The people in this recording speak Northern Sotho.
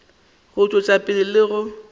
go tšwetša pele le go